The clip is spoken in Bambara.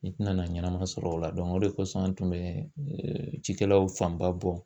N tɛna ɲɛnama sɔrɔ o la o de kosɔn an tun bɛ cikɛlaw fanba bɔ